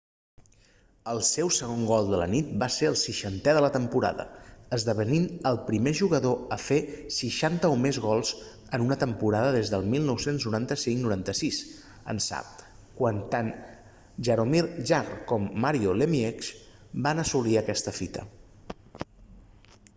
el seu segon gol de la nit va ser el 60è de la temporada esdevenint el primer jugador a fer 60 o més gols en una temporada des del 1995-96 ençà quan tant jaromir jagr com mario lemieux van assolir aquesta fita